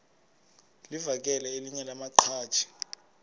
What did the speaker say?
livakele elinye lamaqhaji